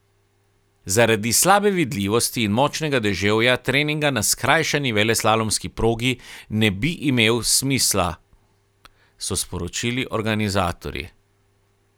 Zaradi slabe vidljivosti in močnega deževja treninga na skrajšani veleslalomski progi ne bi imel smisla, so sporočili organizatorji.